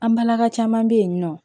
An balaka caman be yen nɔ